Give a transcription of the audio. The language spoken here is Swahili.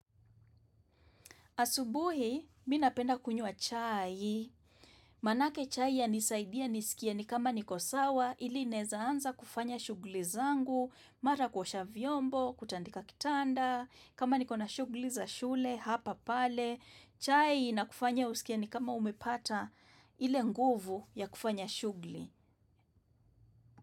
Asubuhi mi napenda kunywa chai, manake chai yanisaidia nisikie ni kama niko sawa ili naeza anza kufanya shugli zangu, mara kuosha vyombo, kutandika kitanda, kama niko na shugli za shule hapa pale, chai na kufanya usikie ni kama umepata ile nguvu ya kufanya shugli.